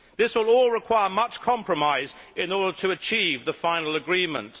This will all require much compromise in order to achieve the final agreement.